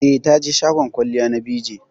Eh, taje shagon kwalliya na BeeJay